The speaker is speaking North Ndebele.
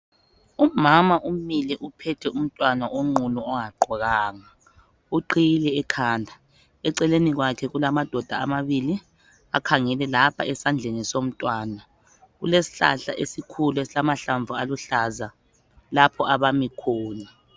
Umama umile uphethe umntwana onqunu ongagqokanga. Uqhiyile ekhanda eceleni kwakhe kulamadoda amabili akhangele lapha esandleni somntwana. Kulesihlahla esikhulu esilamahlamvu aluhlaza lapho abami khona.